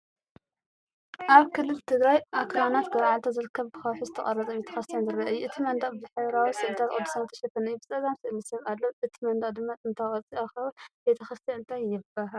ኣብ ክልል ትግራይ ኣኽራናት ገርዓልታ ዝርከብ ብከውሒ ዝተቖርፀ ቤተ ክርስቲያን ዝርአ እዩ። እቲ መናድቕ ብሕብራዊ ስእልታት ቅዱሳን ዝተሸፈነ እዩ። ብጸጋም ስእሊ ሰብ ኣሎ፣ እቲ መናድቕ ድማ ጥንታዊ ቅርጺ ኣኻውሕ፣ ቤተ ክርስቲያን እንታይ ትበሃል?